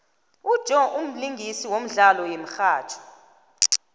ujoe mlingisi womdlalo yemihatjho